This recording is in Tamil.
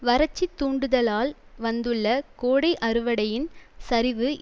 வரட்சித் தூண்டுதலால் வந்துள்ள கோடை அறுவடையின் சரிவு